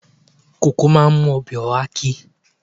Koko máa ń mú ọbẹ̀ oha ki.